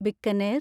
Bikaner